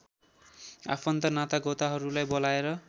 आफन्त नातागोताहरूलाई बोलाएर